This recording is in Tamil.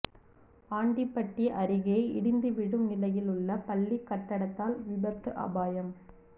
ஆண்டிபட்டி அருகே இடிந்து விழும் நிலையில் உள்ள பள்ளிக் கட்டடத்தால் விபத்து அபாயம்